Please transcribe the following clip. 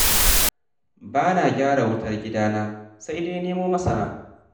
Ba na gyaran wutar gidana da kaina, sai dai nemo masana.